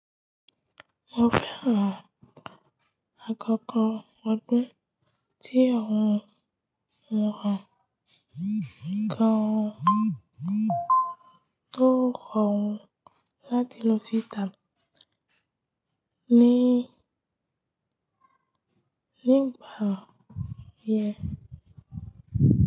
Mo fẹ́ràn àkọ́kọ́ ọdún tí óhun mo ràn gan tó rọ̀ wọ́n láti lọ síta nígbà yẹn.